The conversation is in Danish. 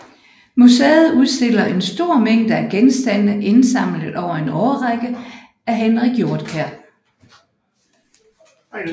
Museet udstiller en stor mængde af genstande indsamlet over en årrække af Henrik Hjortkær